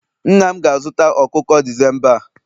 nna m ga-azụta ọkụkọ December a